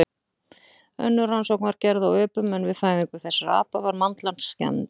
Önnur rannsókn var gerð á öpum en við fæðingu þessara apa var mandlan skemmd.